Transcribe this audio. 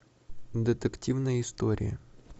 детективные истории